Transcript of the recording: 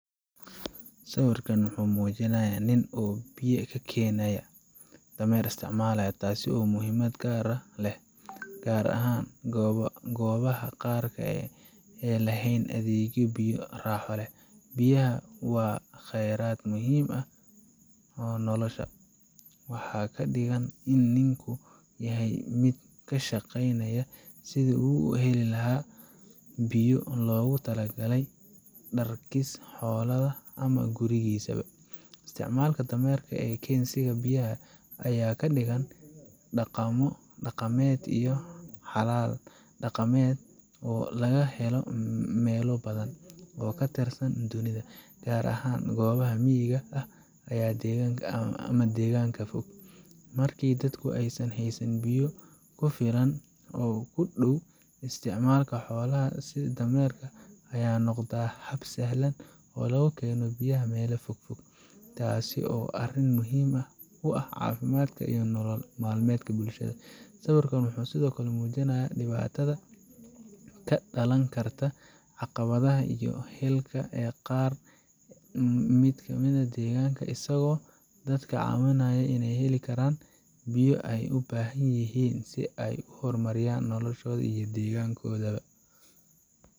Sawirkan wuxuu muujinayaa nin oo biyo ka keenaya dameer, taasoo muhiimad gaar ah leh, gaar ahaan goobaha qaarka ee aan lahayn adeegyo biyo raaxo leh. Biyaha waa kheyraad muhiim u ah nolosha, waxaana ka dhigan in ninku yahay mid ka shaqeynaya sidii uu u heli lahaa biyo loogu talagalay dharkiisa, xoolaha, ama gurigiisa. Isticmaalka dameerka ee keensiga biyaha ayaa ka dhigan dhaqamo dhaqameed iyo xalal dhaqameed oo laga helay meelo badan oo ka tirsan dunida, gaar ahaan goobaha miyiga ah ama deegaanka fog. Markii dadku aysan haysan biyo ku filan oo ku dhow, isticmaalka xoolaha sida dameerka ayaa noqda hab sahlan oo lagu keeno biyaha meelaha fogfog, taasoo ah arrin muhiim u ah caafimaadka iyo nolol maalmeedka bulshada. Sawirkan wuxuu sidoo kale muujinayaa dhibaatada ka dhalan karta caqabadaha biyo helka ee qaar ka mid ah deegaanada, isagoo dadka ka caawinaya inay heli karaan biyo ay u baahan yihiin si ay u horumariyaan noloshooda iyo deegaanadooda ba.